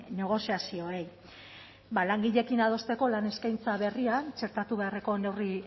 negoziazioei ba langileekin adosteko lan eskaintza berrian txertatu beharreko neurri